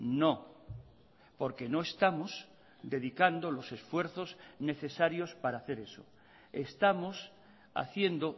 no porque no estamos dedicando los esfuerzos necesarios para hacer eso estamos haciendo